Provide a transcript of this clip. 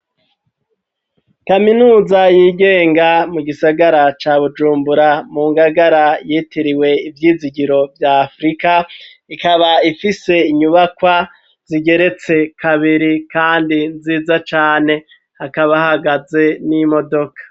Kaminuza yigenga mu gisagara ca bujumbura mu ngagara yitiriwe ivyizigiro vya afurika ikaba ifise inyubakwa zigeretse kabiri, kandi nziza cane hakabahagaze n'imodoka.